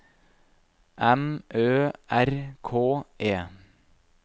M Ø R K E